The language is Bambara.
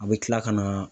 A bɛ tila ka na